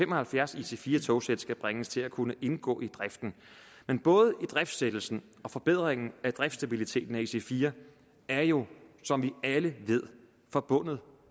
og halvfjerds ic4 togsæt skal bringes til at kunne indgå i driften men både idriftsættelsen og forbedringen af driftstabiliteten af ic4 er jo som alle ved forbundet